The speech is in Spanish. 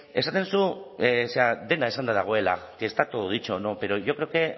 esaten duzu zera dena esanda dagoela que está todo dicho no pero yo creo que